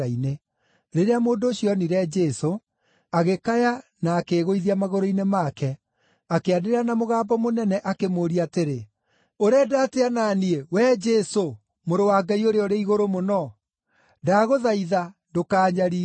Rĩrĩa mũndũ ũcio onire Jesũ, agĩkaya na akĩĩgũithia magũrũ-inĩ make, akĩanĩrĩra na mũgambo mũnene akĩmũũria atĩrĩ, “Ũrenda atĩa na niĩ, wee Jesũ, Mũrũ wa Ngai-Ũrĩa-ũrĩ-Igũrũ-Mũno? Ndagũthaitha, ndũkaanyariire!”